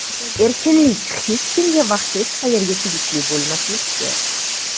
Erkinlik - hech kimga va hech qayerga tegishli bo‘lmaslikdir.